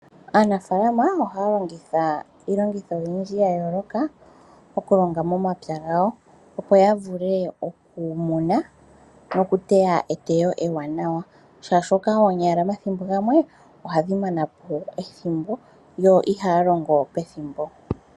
Aanafalama ohaya longitha iilongitho oyindji ya yooloka, oku longa momapya gawo, opo ya vule oku muna noku teya eteyo ewanawa, molwashoka oonyala mathimbo gamwe ohadhi manapo ethimbo yo ihaya longo pethimbo.